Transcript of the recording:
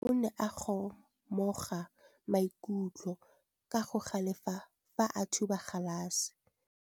Morwa wa me o ne a kgomoga maikutlo ka go galefa fa a thuba galase.